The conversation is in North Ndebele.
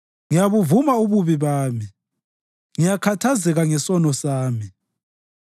Ngiyabuvuma ububi bami; ngiyakhathazeka ngesono sami.